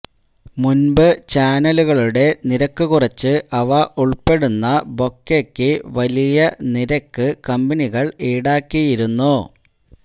മുൻപു ചാനലുകളുടെ നിരക്ക് കുറച്ച് അവ ഉൾപ്പെടുന്ന ബൊക്കെയ്ക്കു വലിയ നിരക്ക് കമ്പനികൾ ഈടാക്കിയിരുന്നു